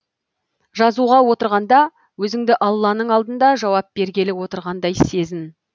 жазуға отырғанда өзіңді алланың алдында жауап бергелі отырғандай сезін